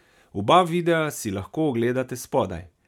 Oba videa si lahko ogledate spodaj.